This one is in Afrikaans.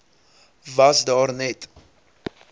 was daar net